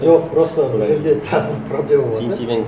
жоқ просто бұл жерде тағы бір проблема бар да